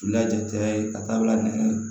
La jate ka taa bila nɛgɛ